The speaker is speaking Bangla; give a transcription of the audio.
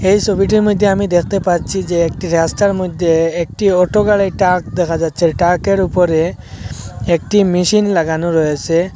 এই ছবিটির মধ্যে আমি দেখতে পাচ্ছি যে একটি রাস্তার মধ্যে একটি অটো গাড়ির ট্রাক দেখা যাচ্ছে ট্রাকের উপরে একটি মেশিন লাগানো রয়েছে।